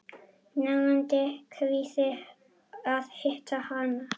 Nagandi kvíði að hitta hana.